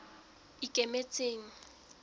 ikemetseng